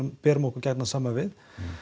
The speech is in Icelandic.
berum okkur gjarnan saman við